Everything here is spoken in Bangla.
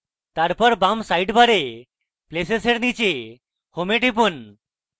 তারপর বাম সাইডবারে places এর নীচে home এ টিপুন